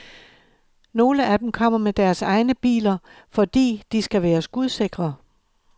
Nogle af dem kommer med deres egnebiler, fordi de skal være skudsikre.